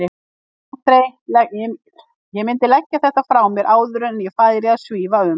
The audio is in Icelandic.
Ég mundi leggja þetta frá mér áður en að ég færi að svífa um!